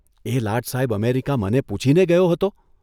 'એ લાટ સાહેબ અમેરિકા મને પૂછીને ગયો હતો?